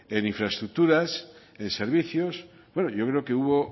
en infraestructuras en servicios bueno yo creo que hubo